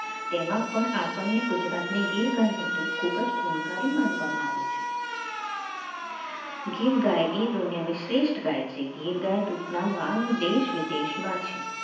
તેમાં પણ આપણને ગુજરાતની ગીર ગાયનું દૂધ ખૂબ જ ગુણકારી માનવામાં આવે છે ગીર ગાય એ દુનિયાની શ્રેષ્ઠ ગાય છે ગીર ગાયના દૂધના માંગ દેશ-વિદેશમાં છે